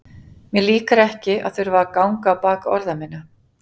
Mér líkar ekki að þurfa að ganga á bak orða minna.